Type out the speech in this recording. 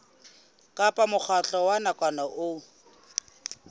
kapa mokgatlo wa nakwana o